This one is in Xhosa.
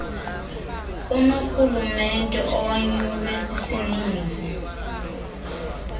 unorhulumente owanyulwe sisininzi